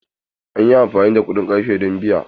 An yi amfani da kuɗin ƙarfe don biya.